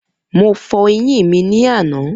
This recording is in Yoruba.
Mo fọ eyín mi ní àná.